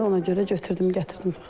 Yəni ona görə götürdüm, gətirdim.